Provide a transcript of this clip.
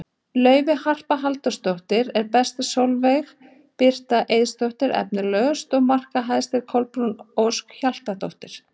Laufey Harpa Halldórsdóttir var best, Sólveig Birta Eiðsdóttir efnilegust og markahæst var Kolbrún Ósk Hjaltadóttir.